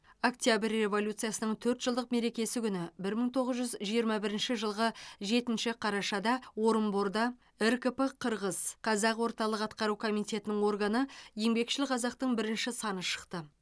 октябрь революциясының төрт жылдық мерекесі күні бір мың тоғыз жүз жиырма бірінші жылғы жетінші қарашада орынборда ркп қырғыз қазақ орталық атқару комитетінің органы еңбекшіл қазақтың бірінші саны шықты